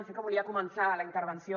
sí que volia començar la intervenció